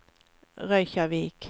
Reykjavík